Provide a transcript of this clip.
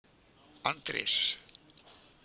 Andrés